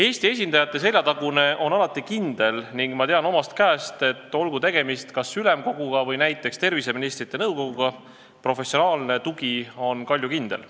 Eesti esindajate seljatagune on alati kindel ning ma tean omast käest, et olgu tegemist Ülemkoguga või näiteks terviseministrite nõukoguga – professionaalne tugi on kaljukindel.